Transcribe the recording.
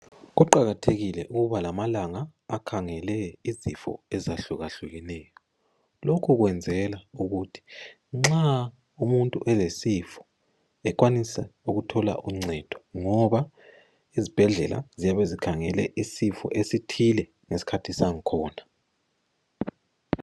Kuqakathekile ukuba lamalanga akhangele izifo ezahlukahlukeneyo. Lokhu kwenzela ukuthi nxa umuntu elesifo, ekwanise ukuthola uncedo. Ngoba izibhedlela ziyabe zikhangele isifo esithile ngeskhathi sangkhona.